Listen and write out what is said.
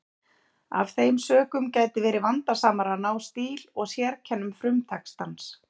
Af þeim sökum gæti verið vandasamara að ná stíl og sérkennum frumtextans.